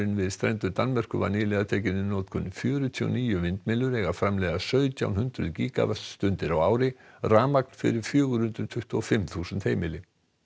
við strendur Danmerkur var nýlega tekinn í notkun fjörutíu og níu vindmyllur eiga að framleiða sautján hundruð gígavattstundir á ári rafmagn fyrir fjögur hundruð tuttugu og fimm þúsund heimili